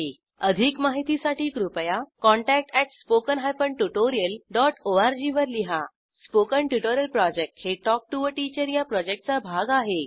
अधिक माहितीसाठी कृपया contact at spoken hyphen tutorial dot org वर लिहा स्पोकन ट्युटोरियल प्रॉजेक्ट हे टॉक टू टीचर या प्रॉजेक्टचा भाग आहे